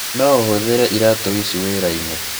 No ũhũthĩre iraatũ ici wĩra-inĩ.